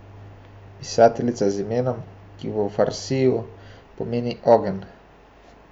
Pisateljica z imenom, ki v farsiju pomeni ogenj ...